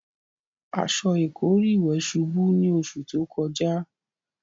Aṣọ ìkọ́rí ìwẹ̀ ṣubú ní oṣù tó kọjá.